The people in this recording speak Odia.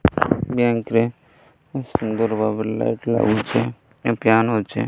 ବ୍ୟାଙ୍କ୍ ରେ ବହୁତ୍ ସୁନ୍ଦର ଭାବରେ ଲାଇଟ୍ ଲାଗିଛି ଆଉ ଫ୍ୟାନ ଅଛି।